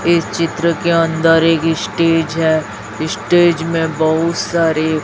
इस चित्र के अंदर एक स्टेज है स्टेज में बहुत सारे--